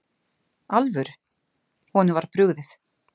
alvöru, honum var brugðið.